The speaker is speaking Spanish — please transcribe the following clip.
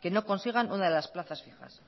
que no consigan una de las plazas fijas